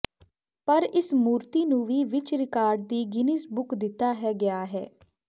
ਪਰ ਇਸ ਮੂਰਤੀ ਨੂੰ ਵੀ ਵਿੱਚ ਰਿਕਾਰਡ ਦੀ ਗਿੰਨੀਜ਼ ਬੁੱਕ ਦਿੱਤਾ ਹੈ ਗਿਆ ਹੈ